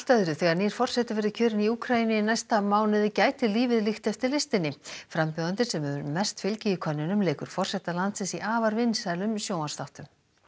þegar nýr forseti verður kjörinn í Úkraínu í næsta mánuði gæti lífið líkt eftir listinni frambjóðandinn sem hefur mest fylgi í könnunum leikur forseta landsins í afar vinsælum sjónvarpsþáttum